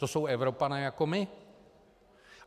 To jsou Evropané jako my.